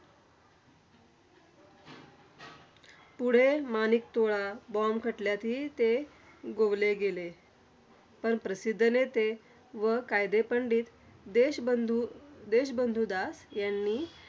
पुढे माणिकतोळा bomb खटल्यातही ते गोवले गेले. पण प्रसिद्ध नेते व कायदेपंड़ित देशबंधू देशबंधू दास यांनी